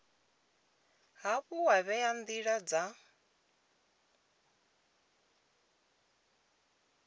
hafhu wa vhea ndila dza